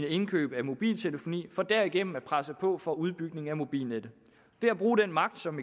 indkøb af mobiltelefoni for derigennem at presse på for udbygning af mobilnettet ved at bruge den magt som